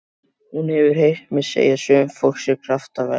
Hún hefur heyrt mig segja að sumt fólk sé kraftaverk.